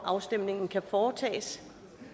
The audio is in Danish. afstemningen kan foretages